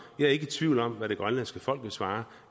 jeg er ikke tvivl om hvad det grønlandske folk ville svare